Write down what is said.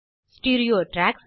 stereo tracks